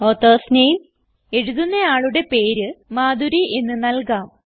authors name എഴുതുന്ന ആളുടെ പേര് മധുരി എന്ന് നൽകാം